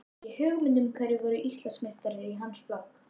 Hafði ekki hugmynd um hverjir voru Íslandsmeistarar í hans flokki.